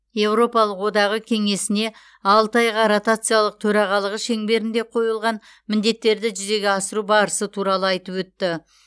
еуропалық одағы кеңесіне алты айға ротациялық төрағалығы шеңберінде қойылған міндеттерді жүзеге асыру барысы туралы айтып өтті